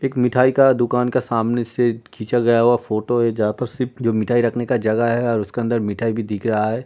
एक मिठाई का दुकान का सामने से खींचा गया हुआ फोटो है जहां पर सिर्फ जो मिठाई रखने का जगह है और उसके अंदर मिठाई भी दिख रहा है।